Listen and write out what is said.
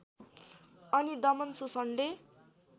अनि दमन शोषणले